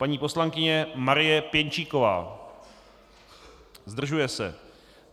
Paní poslankyně Marie Pěnčíková: Zdržuje se.